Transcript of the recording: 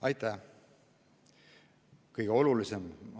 Aitäh!